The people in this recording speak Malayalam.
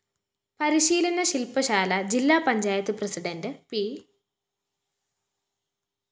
പരിശീലന ശില്‍പശാല ജില്ലാ പഞ്ചായത്ത്‌ പ്രസിഡണ്ട്‌ പി